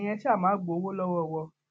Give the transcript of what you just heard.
ẹyin ẹ ṣáà má gbowó lọwọ wọn